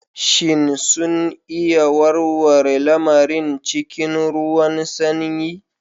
Shin sun iya warware lamarin cikin ruwan sanyi?